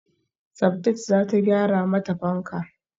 Sabdat zata gyara mata fanka